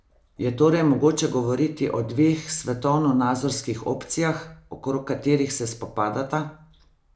Je torej mogoče govoriti o dveh svetovnonazorskih opcijah, okrog katerih se spopadata?